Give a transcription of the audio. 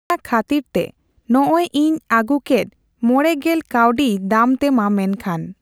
ᱚᱱᱟ ᱠᱷᱟᱹᱛᱤᱨ ᱛᱮ ᱱᱚᱜᱽᱼᱚᱭ ᱤᱧ ᱟᱹᱜᱩ ᱠᱮᱫ ᱢᱚᱲᱮ ᱜᱮᱞ ᱠᱟᱣᱰᱤ ᱫᱟᱢ ᱛᱮᱢᱟ ᱢᱮᱱᱠᱷᱟᱱ